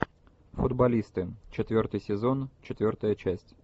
футболисты четвертый сезон четвертая часть